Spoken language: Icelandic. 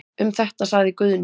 Um þetta sagði Guðni.